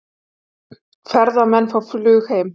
Ferðamenn fá flug heim